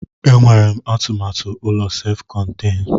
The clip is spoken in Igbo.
E nwere m atụmatụ ụlọ sef konten.